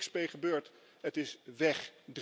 Daar is niks mee gebeurd. Het is weg.